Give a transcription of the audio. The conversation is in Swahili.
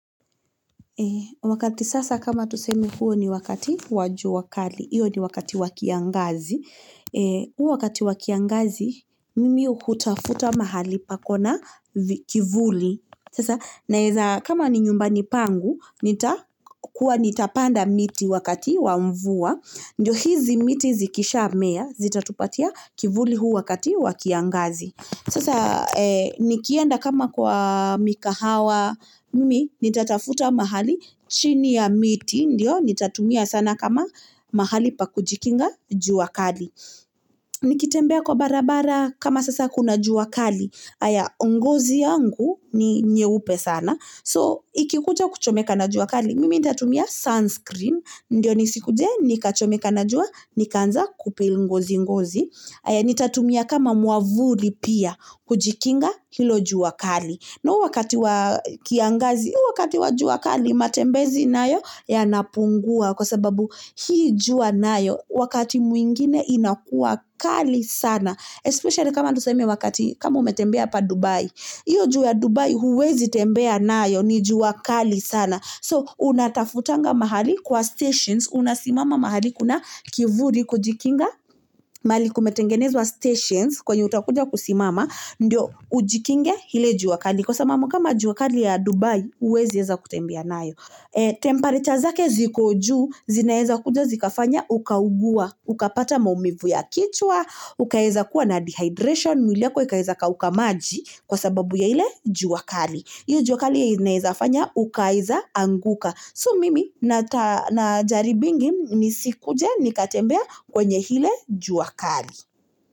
Wakati sasa kama tusemi huo ni wakati waju wakali. Iyo ni wakati wakia ngazi. Wakati wakia ngazi, mimi uhuta-futa mahali pakona kivuli. Sasa, na eza kama ninyumbani pangu, nita kuwa nita panda miti wakati wa umvua. Ndo hizi miti zikisha mea, zita tupatia kivuli wakati wakia ngazi. Sasa, nikienda kama kwa mikahawa, mimi, nita tafuta mahali chiniya miti, ndio, nita tumia sana kama mahali pakujikinga juwa kali. Nikitembea kwa bara-bara kama sasa kuna juwa kali, aya, ngozi angu ni nyeupe sana. So, ikikuja kuchomeka na juwa kali, mimi nita tumia sunscreen, ndio, nisi kujee, nika chomeka na juwa, nika anza kupi ungozi ungozi. Aya, nita tumia kama muwavuli pia, kujikinga hilo juwa kali. Na wakati wakia ngazi, wakati wajuwa kali matembezi nayo, yanapunguwa kwa sababu hi juwa na yo, wakati mwingine inakuwa kali sana, especially kama nuseme wakati, kama umetembea pa Dubai, iyo juwa Dubai huwezi tembea nayo, ni juwa kali sana. So, unatafutanga mahali kwa stations, unasimama mahali kuna kivuli kujikinga, mahali kumetengenezwa stations, kweni utakujaku simama, niyo, ujikinga hile juwa kali, kosa mamu kama juwa kali ya Dubai, huwezi eza kutembea na yo. Temperatures zake ziko juu, zina eza kujo, zika fanya, ukaugua, uka pata maumivu ya kichwa, uka eza kua na dehydration, muliako eka eza kauka maji, kosebabu ya hile juwa kali. Yu jua kali na eza fanya, uka eza anguka. So, mimi na jaribingi ni sikuja, nikatembea kwenye hile juwa kali.